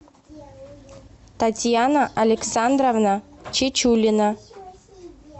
татьяна александровна чечулина